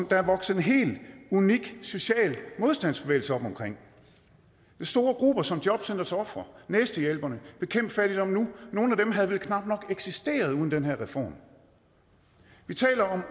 der er vokset en helt unik social modstandsbevægelse op omkring med store grupper som jobcentrets ofre næstehjælperne og bekæmp fattigdom nu nogle af dem havde vel knap nok eksisteret uden den her reform vi taler om